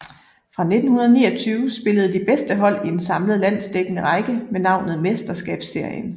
Fra 1929 spillede de bedste hold i en samlet landsdækkende række med navnet Mesterskabsserien